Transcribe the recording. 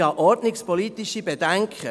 Ich habe ordnungspolitische Bedenken.